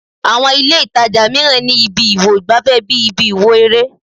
Àwọn ìlé-ìtajà mìíràn ni ibi ìwo ìgbàfẹ́ bí ibi ìwò eré